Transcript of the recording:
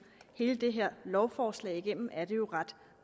hele det her lovforslag igennem er det jo ret